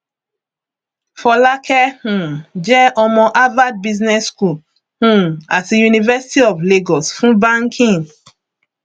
fọlákẹ um jẹ ọmọ harvard business school um àti university of lagos fún banking